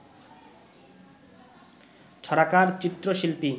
ছড়াকার, চিত্রশিল্পী